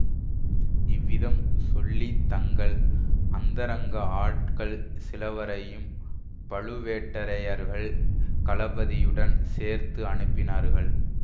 இவ்விதம் சொல்லி தங்கள் அந்தரங்க ஆட்கள் சிலவரையும் பழுவேட்டரையர்கள் கலபதியுடன் சேர்த்து அனுப்பினார்கள்